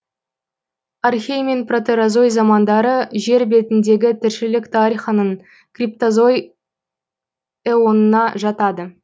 архей мен протерозой замандары жер бетіндегі тіршілік тарихының криптозой эонына жатады